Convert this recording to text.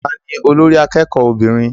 Ta ni olórí akẹ́kọ̀ọ́ obìnrin?